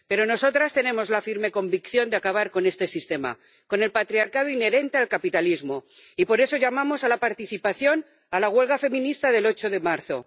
Pero nosotras tenemos la firme convicción de acabar con este sistema, con el patriarcado inherente al capitalismo y, por eso, llamamos a la participación en la huelga feminista del 8 de marzo.